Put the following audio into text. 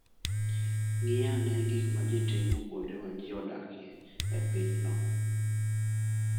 Ng'i ane gik ma ji timo kuonde ma ji odakie e pinyno.